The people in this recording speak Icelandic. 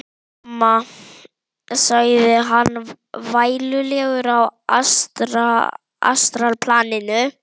Mamma, sagði hann vælulegur á astralplaninu.